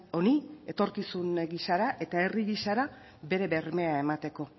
honi etorkizun gisara eta herri gisara bere bermea emateko